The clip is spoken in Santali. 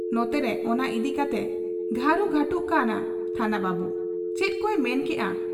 ᱱᱚᱛᱮᱨᱮ ᱚᱱᱟ ᱤᱫᱤ ᱠᱟᱛᱮᱭ ᱜᱷᱟᱹᱨᱩ ᱜᱷᱟᱺᱴᱩᱜ ᱠᱟᱱᱟ ᱛᱷᱟᱱᱟ ᱵᱟᱹᱵᱩ ᱾ ᱪᱮᱫᱠᱚᱭ ᱢᱮᱱ ᱠᱮᱜ ᱟ ᱾